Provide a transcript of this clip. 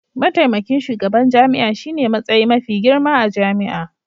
Mataimakin shugaban jami'a shine matsayi mafi girma a jami'a.